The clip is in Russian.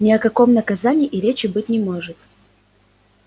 ни о каком наказании и речи быть не может